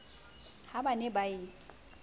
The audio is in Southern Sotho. ha ba ne ba e